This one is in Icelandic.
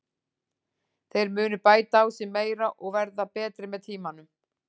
Þeir munu bæta sig meira og verða betri með tímanum.